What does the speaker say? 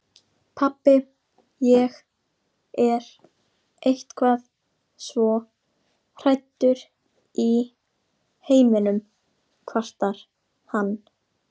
Pabbi, ég er eitthvað svo hræddur í heiminum, kvartar hann.